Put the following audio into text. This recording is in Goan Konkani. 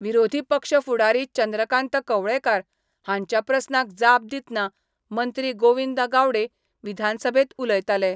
विरोधी पक्ष फुडारी चंद्रकांत कवळेकार हांच्या प्रस्नाक जाप दितनां मंत्रीगोविंद गावडे विधानसभेंत उलयताले.